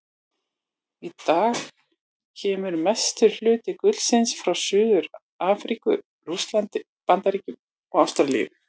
Í dag kemur mestur hluti gullsins frá Suður-Afríku, Rússlandi, Bandaríkjunum og Ástralíu.